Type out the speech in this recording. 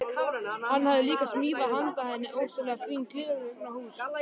Hann hafði líka smíðað handa henni ofsalega fín gleraugnahús.